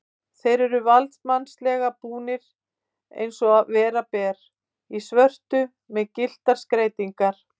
Þeir eru valdsmannslega búnir, eins og vera ber, í svörtu með gylltar skreytingar.